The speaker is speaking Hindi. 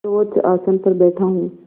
सर्वोच्च आसन पर बैठा हूँ